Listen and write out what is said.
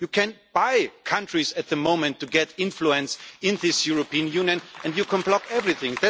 You can buy countries at the moment to get influence in this European Union and you can block everything.